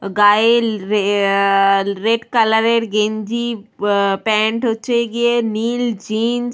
গায়ে রে আহ রেড কালারের গেঞ্জি আহ প্যান্ট হচ্ছে গিয়ে নীল জিন্স ।